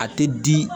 A tɛ di